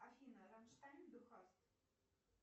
афина рамштайн ду хаст